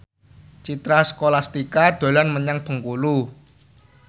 Citra Scholastika dolan menyang Bengkulu